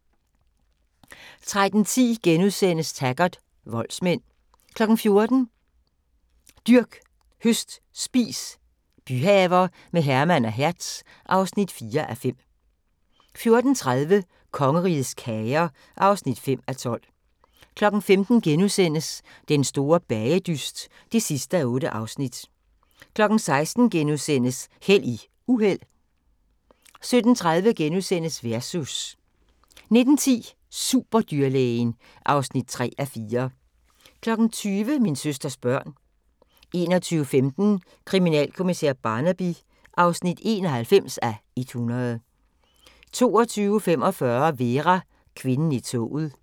13:10: Taggart: Voldsmænd * 14:00: Dyrk, høst, spis – byhaver med Herman og Hertz (4:5) 14:30: Kongerigets kager (5:12) 15:00: Den store bagedyst (8:8)* 16:00: Held i uheld * 17:30: Versus * 19:10: Superdyrlægen (3:4) 20:00: Min søsters børn 21:15: Kriminalkommissær Barnaby (91:100) 22:45: Vera: Kvinden i toget